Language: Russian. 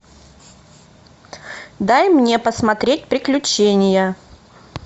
дай мне посмотреть приключения